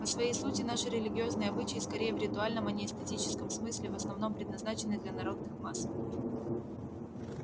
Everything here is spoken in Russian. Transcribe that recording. по своей сути наши религиозные обычаи скорее в ритуальном а не этическом смысле в основном предназначены для народных масс